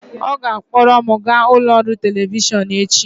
ọ ga-akpọrọ m gaa ụlọ ọrụ telivishọn echi